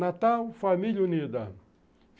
Natal, família unida.